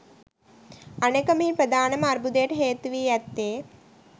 අනෙක මෙහි ප්‍රධානම අර්බුදයට හේතුවී ඇත්තේ